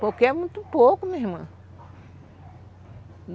Porque é muito pouco, minha irmã.